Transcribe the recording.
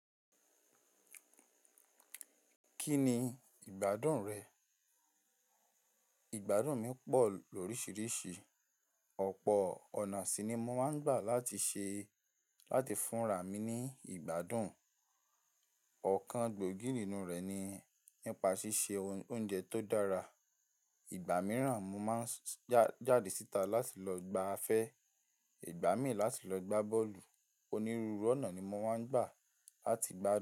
Kí ni ìgbádùn rẹ̀? Ìgbádùn mi pọ̀ lóríṣiríṣi. Ọ̀pọ̀ ọ̀nà síí ni mo máa ń gbà láti ṣe, láti fúnra mi ní ìgbádùn. Ọ̀kan gbòógì nínú rẹ̀ ni nípa ṣíṣe oun- oúnjẹ tó dára. Ìgbà mìíràn mo máa ń s- já- jáde síta láti lọ gbá afẹ́. Ìgbà míì láti lọ gbá bọ́ọ̀lù. Onírúurú ọ̀nà ni mo máa ń gbà láti gbádùn.